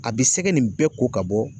A bi sɛgɛ nin bɛɛ ko ka bɔ